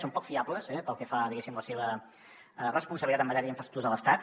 són poc fiables pel que fa diguéssim a la seva responsabilitat en matèria d’infraestructures a l’estat